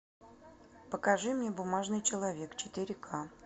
покажи мне бумажный человек четыре к